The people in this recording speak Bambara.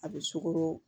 A bɛ sukoro